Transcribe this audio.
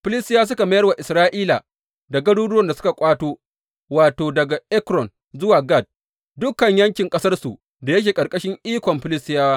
Filistiyawa suka mayar wa Isra’ila da garuruwan da suka ƙwato, wato, daga Ekron zuwa Gat, dukan yankin ƙasarsu da yake ƙarƙashin ikon Filistiyawa.